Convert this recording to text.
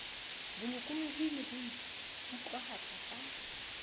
bolokolohi le ho ikutlwahatsa ka